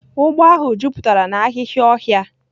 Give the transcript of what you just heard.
Ugbo ahu juputara na ahihia ohia.